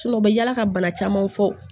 u bɛ yala ka bana camanw fɔ